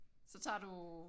Så tager du